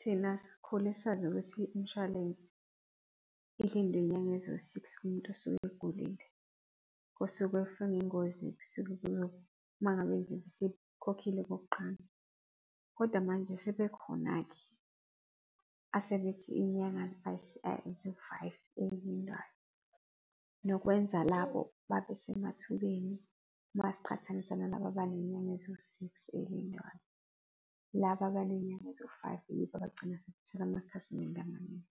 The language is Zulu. Thina sikhule sazi ukuthi imshwalense ilindwa izinyanga eziwu-six kumuntu osuke egulile, kosuke efe ngengozi kusuke kuzo uma ngabe nje esekhokhile okokuqala. Kodwa manje sebekhona-ke asebethi izinyanga ziwu-five ezilindwayo nokwenza labo babesemathubeni masiqhathanisa nalaba abanezinyanga eziwu-six ezilindwayo. Laba abanezinyanga eziwu-five, yibo abagcina sebethola amakhasimende amaningi.